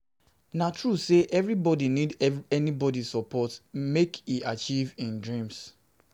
Na true sey everybodi need everybodi need support make e achieve im dreams.